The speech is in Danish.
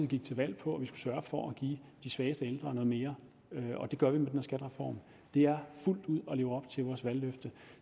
gik til valg på at sørge for at give de svageste ældre noget mere og det gør vi med den her skattereform det er fuldt ud at leve op til vores valgløfte